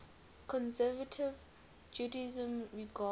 conservative judaism regards